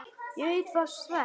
Og ég var svelt.